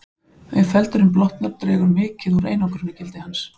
Ef feldurinn blotnar dregur mikið úr einangrunargildi hans.